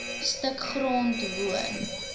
stuk grond woon